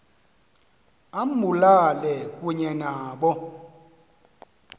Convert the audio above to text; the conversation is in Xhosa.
ambulale kunye nabo